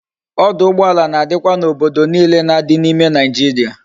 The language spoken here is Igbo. Oduugboala na dikwa na obodo niile na di na ime naijiria